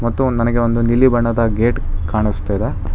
ಮತ್ತು ಒಂದ್ ನನಗೆ ಒಂದು ನೀಲಿ ಬಣ್ಣದ ಗೇಟ್ ಕಾಣುಸ್ತಿದೆ.